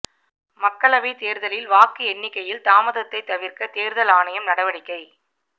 மக்களவைத் தேர்தலில் வாக்கு எண்ணிக்கையில் தாமதத்தை தவிர்க்க தேர்தல் ஆணையம் நடவடிக்கை